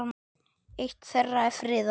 Eitt þeirra er friðað.